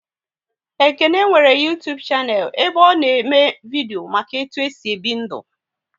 Ekene nwere Uytubu shanel ebe ọ na eme vidio maka etu e si ebi ndu